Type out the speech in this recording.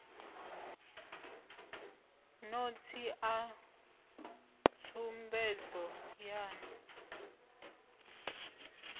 notsi a tsumbedzo yan u